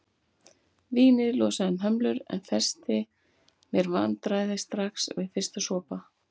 Vínið losaði um hömlur en festi mér vandræði strax við fyrsta sopa.